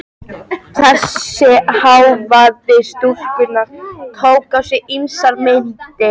Þessi hávaði stúlkunnar tók á sig ýmsar myndir.